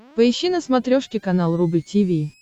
поищи на смотрешке канал рубль ти ви